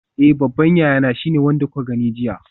Eh babban yayana shine wanda kuka gani jiya.